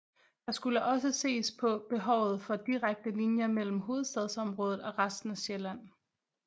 Der skulle også ses på behovet for direkte linjer mellem Hovedstadsområdet og resten af Sjælland